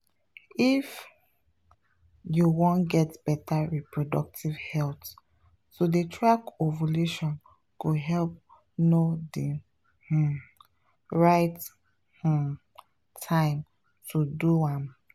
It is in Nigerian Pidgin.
if you wan get better reproductive health to dey track ovulation go help know the um right um time to do am.